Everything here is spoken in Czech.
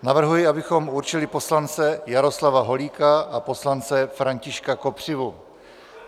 Navrhuji, abychom určili poslance Jaroslava Holíka a poslance Františka Kopřivu.